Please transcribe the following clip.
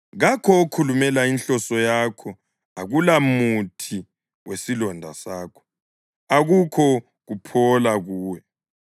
Kakho okhulumela inhloso yakho, akulamuthi wesilonda sakho, akukho kuphola kuwe.